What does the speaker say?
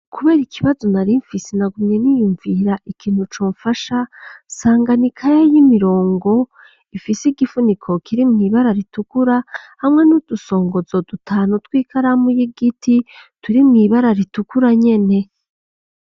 Kubera ikibazo, narimfise, nagumye niyumvira, ikintu comfasha, nsanga ni ikaye y'imirongo, ifise igifuniko, kiri mw'ibara ritukura, hamwe n'udusongozo dutanu, tw'ikaramu y'igiti, turi mw'ibara ritukura nyene.